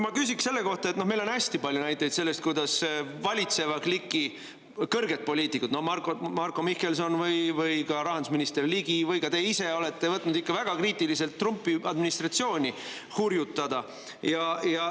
Ma küsin selle kohta, et meil on hästi palju näiteid selle kohta, kuidas valitseva kliki kõrged poliitikud, Marko Mihkelson, ka rahandusminister Ligi ja ka teie ise, kuidas te olete võtnud ikka väga kriitiliselt Trumpi administratsiooni hurjutada.